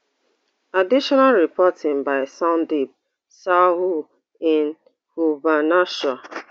additional reporting by sandeep sahu in bhubaneshwar